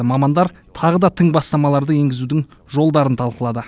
мамандар тағы да тың бастамаларды енгізудің жолдарын талқылады